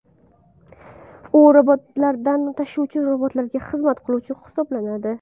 U robotlardan tashiluvchi robotlarga xizmat qiluvchi hisoblanadi.